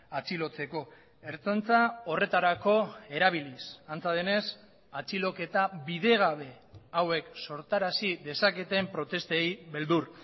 atxilotzeko ertzaintza horretarako erabiliz antza denez atxiloketa bidegabe hauek sortarazi dezaketen protestei beldur